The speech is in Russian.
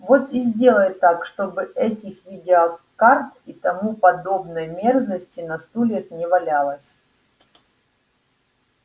вот и сделай так чтобы этих видеокарт и тому подобной мерзости на стульях не валялось